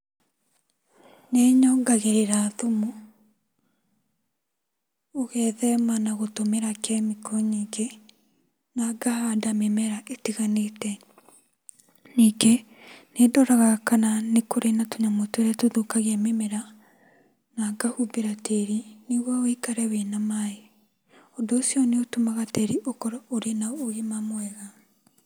Nĩnyongagĩrĩra thumu, ũgethema na gũtũmĩra kemiko nyingĩ na ngahanda mĩmera ĩtiganĩte. Ningĩ nĩndoraga kana nĩkũrĩ na tũnyamũ tũrĩa tũthũkagia mĩmera na ngahumbĩra tĩri nĩguo wũikare wĩna maaĩ. Ũndũ ũcio nĩũtũmaga tĩri ũkorwo ũrĩ na ũgima mwega.